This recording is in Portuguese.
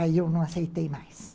Aí eu não aceitei mais.